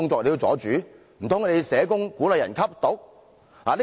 難道社工鼓勵別人吸毒？